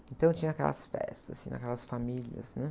Então, eu tinha aquelas festas, assim, naquelas famílias, hum?